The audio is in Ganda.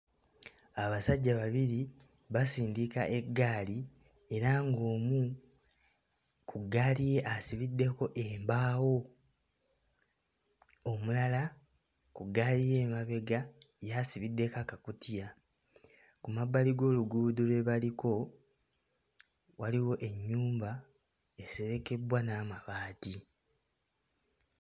Abasajja babiri basindika eggaali era ng'omu ku ggaali ye asibiddeko embaawo, omulala ku ggaali ye emabega ye asibiddeko akakutiya. Ku mabbali g'oluguudo lwe baliko waliwo ennyumba eserekebbwa n'amabaati.